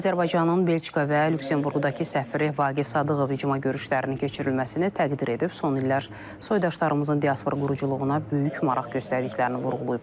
Azərbaycanın Belçika və Lüksemburqdakı səfiri Vaqif Sadıqov icma görüşlərinin keçirilməsini təqdir edib, son illər soydaşlarımızın diaspora quruculuğuna böyük maraq göstərdiklərini vurğulayıb.